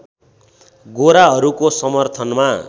गोराहरूको समर्थनमा